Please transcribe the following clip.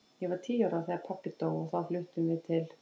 Ég var tíu ára þegar pabbi dó og þá fluttum við til